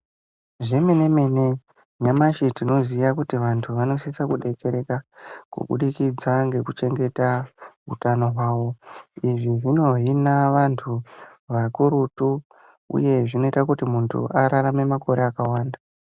Zvemene mene nyamashi tinoziya kuti vantu vanosisa kudetsereka kubudikidza ngekuchengeta utano hwavo izvi zvino hina vantu vakurutu uyu zvinoita muntu ararame makore akawanda.